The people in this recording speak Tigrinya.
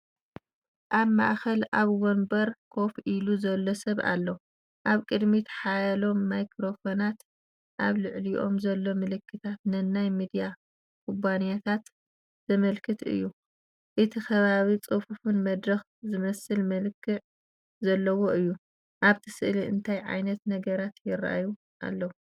ኣብ ማእከል ኣብ መንበር ኮፍ ኢሉ ዘሎ ሰብ ኣሎ። ኣብ ቅድሚት ሓያሎ ማይክሮፎናት፤ ኣብ ልዕሊኦም ዘሎ ምልክታት ንናይ ሚድያ ኩባንያታት ዘመልክት እዩ። እቲ ከባቢ ጽፉፍን መድረኽ ዝመስል መልክዕ ዘለዎን እዩ። ኣብቲ ስእሊ እንታይ ዓይነት ነገራት ይረኣዩ ኣለው?